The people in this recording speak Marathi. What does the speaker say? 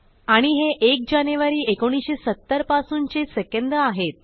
आणि हे 1 जानेवारी 1970 पासूनचे सेकंद आहेत